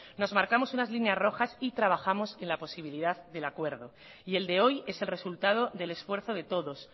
nos marcamos unas líneas rojas y trabajamos en la posibilidad del acuerdo y el de hoy es el resultado del esfuerzo de todos